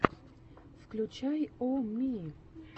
включай о ми